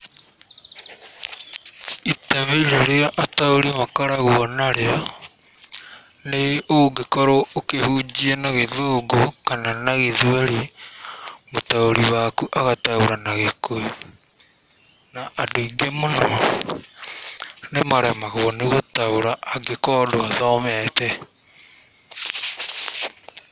Itemi rĩrĩa ataũri makoragwo narĩo nĩ ũngĩkorwo ũkĩhunjia na githũngũ kana na gĩthweri, mũtaũri waku agataũra na gĩkũyũ, na andũ aingĩ mũno nĩ maremagwo nĩ gũtaũra angĩkorwo ndwathomete.